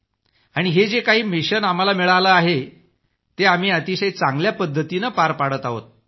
आणि हे जे काही मिशन आम्हाला मिळालं आहे ते आम्ही अतिशय चांगल्या पद्धतीनं पार पाडत आहोत